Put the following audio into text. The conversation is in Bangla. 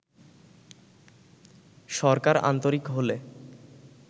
সরকার আন্তরিক হলে